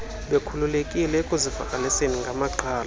bekhululekile ekuzivakaliseni ngamaqhalo